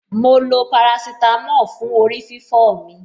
Mo lo parasítámọ̀ fún orí-fífọ́ mi.